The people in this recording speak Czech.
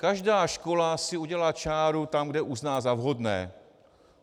Každá škola si udělá čáru tam, kde uzná za vhodné.